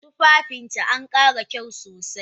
Tufafinta ankara kyau sosai